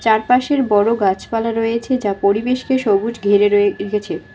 আর পাশের বড়ো গাছপালা রয়েছে যা পরিবেশকে সবুজ ঘিরে রয়ে-রেখেছে।